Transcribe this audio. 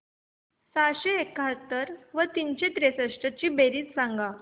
सहाशे एकाहत्तर व तीनशे त्रेसष्ट ची बेरीज सांगा